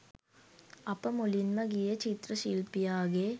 අප මුලින්ම ගියේ චිත්‍ර ශිල්පියාගේ